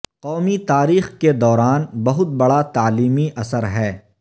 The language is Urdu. قومی تاریخ کے دوران بہت بڑا تعلیمی اثر ہے